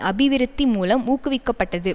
அபிவிருத்தி மூலம் ஊக்குவிக்கப்பட்டது